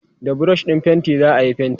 da brush ɗin fainti zaayi fainti